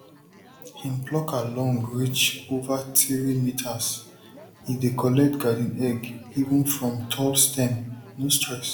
him plucker long reach over three meterse dey collect garden egg even from tall stem no stress